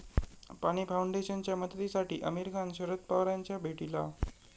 पाणी फाऊंडेशनच्या मदतीसाठी आमिर खान शरद पवारांच्या भेटीला